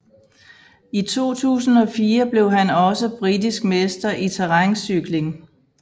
I 2004 blev han også britisk mester i terræncykling